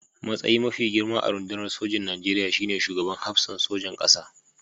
Matsayi mafi girma a rundunar sojin Nigeriya shi ne Shugaban Hafsan Sojan ƙasa.